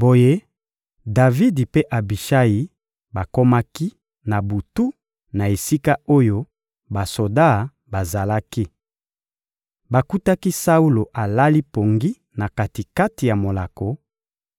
Boye Davidi mpe Abishayi bakomaki, na butu, na esika oyo basoda bazalaki. Bakutaki Saulo alali pongi na kati-kati ya molako,